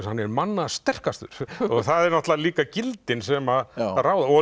hann er manna sterkastur og það eru náttúrulega líka gildin sem að ráða og